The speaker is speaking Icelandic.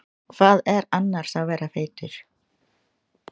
Hvað er annars að vera feitur?